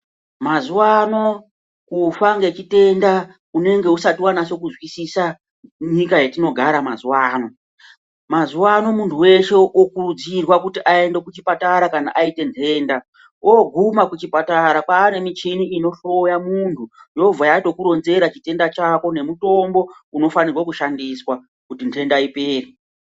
Mazuwa ano kufa ngechitenda unenge usati wanase kunzwisisa nyika yatinogara mazuwa ano ,mazuano munhu weshe wokuridzirwe kuti aende kuchipatara kana aite nhenda ooguma kuchipatara kwaane michini inhloya munhu yobva yatokuronzera chitenda chako nemutombo unofanirwe kushandiswa kuti nhenda ipere.